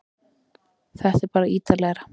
Þetta er bara ítarlegra